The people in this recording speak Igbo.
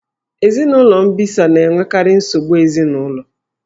Ezinụlọ mbisa na-enwekarị nsogbu ezinụlọ.